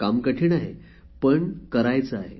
काम कठीण आहे पण करायचे आहे